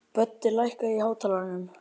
Böddi, lækkaðu í hátalaranum.